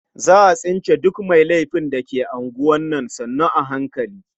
Za a tsince duk mai laifin da ke unguwar nan sannu a hankali.